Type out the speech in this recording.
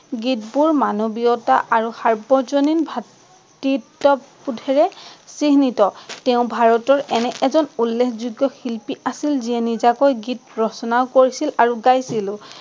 গীতবোৰ মানৱীয়তা আৰু সাৰ্বজনীন ভাতৃত্ত্ববোধেৰে চিহ্নিত। তেওঁ ভাৰতৰ এনে এজন উল্লেখযোগ্য শিল্পী আছিল যিয়ে নিজাকৈ গীত ৰচনাও কৰিছিল আৰু গাইছিলো।